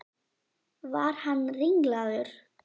Var hann ringlaður?